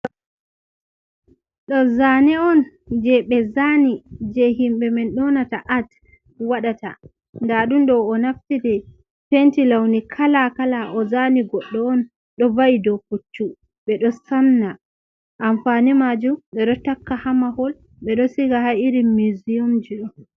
Ɗo zane on je ɓe zani, je himbe men nyonata ats waɗata, nɗa ɗum ɗo o naftiri penti launi kala kala o zani goɗɗo on ɗo va'i ɗo pucchu ɓedo samna, amfani majum ɓedo takka ha mahol ɓeɗo siga ha irin muziyum ji do.